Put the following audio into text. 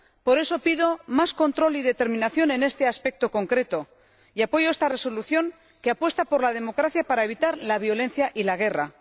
Por eso, pido más control y determinación en este aspecto concreto, y apoyo esta propuesta de Resolución, que apuesta por la democracia para evitar la violencia y la guerra.